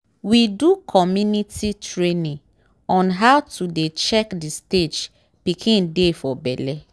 we do community training on how to dey check the stage pikin dey for belle.